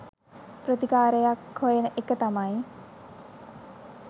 ප්‍රතිකාරයක් හොයන එක තමයි